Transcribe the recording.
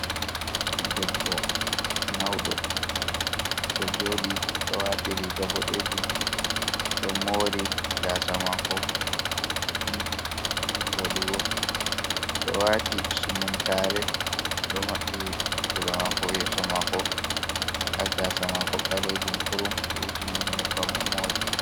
Debbo mauɗo ɗo joɗi oɗo wati riga boɗejum o ɗo mori gasa mako juɗɗi ni voɗugo, o ɗo wati sumuntare o ɗo maɓɓi kuje ɗo mako yeso mako, nda gasa mako ɓalejum kurum o wuji ni ɗum nyebbam o mori.